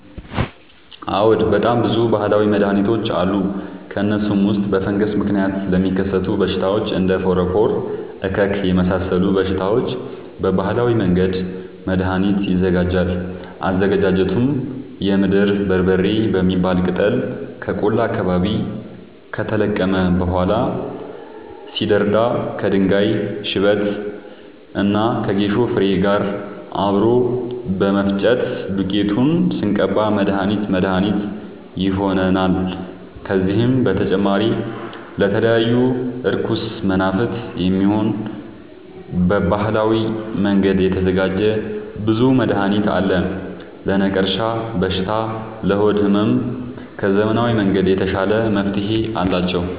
አዎድ በጣም ብዙ በሀላዊ መድሀኒቶች አሉ ከእነሱም ውስጥ በፈንገስ ምክንያት ለሚከሰቱ በሽታዎች እንደ ፎረፎር እከክ የመሳሰሉ በሽታዎች በባህላዊ መንገድ መድሀኒት ይዘጋጃል አዘገጃጀቱም የምድር በርበሬ የሚባል ቅጠል ከቆላ አካባቢ ከተለቀመ በኋላ ሲደርዳ ከድንጋይ ሽበት እና ከጌሾ ፋሬ ጋር አብሮ በመፈጨት ዱቄቱን ስንቀባ መድሀኒት መድሀኒት ይሆነናል። ከዚህም በተጨማሪ ለተለያዩ እርኩስ መናፍት፣ የሚሆን በባህላዊ መንገድ የተዘጋጀ ብዙ መድሀኒት አለ። ለነቀርሻ በሽታ ለሆድ ህመም ከዘመናዊ መንገድ የተሻለ መፍትሄ አላቸው።